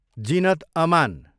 Zeenat Aman